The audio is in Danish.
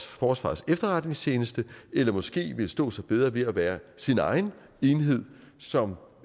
forsvarets efterretningstjeneste eller måske ville stå sig bedre ved at være sin egen enhed som